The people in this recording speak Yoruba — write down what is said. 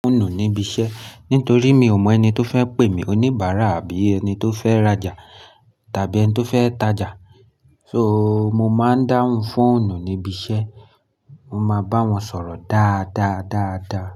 Fóònù níbi iṣẹ́ nítorí mi ò mọ ẹni tó fẹ́ pè mí oníbàárà àbí ẹni tó fẹ́ rajà tàbí ẹni tó fẹ́ tajà. So mo máa ń dáhùn fóònù níbi iṣẹ́, mo máa bá wọn sọ̀rọ̀ dáadáa dáadáa.